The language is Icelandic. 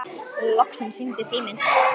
Loksins hringdi síminn.